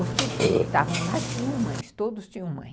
Os que estavam lá tinham mães, todos tinham mãe.